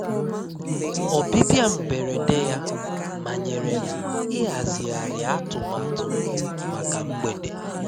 Ọ́bịbịá mbérédé yá mányèré m íházighíhárí àtụ́mátụ́ m mákà mgbédé.